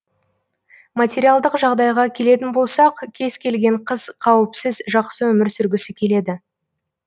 материалдық жағдайға келетін болсақ кез келген қыз қауіпсіз жақсы өмір сүргісі келеді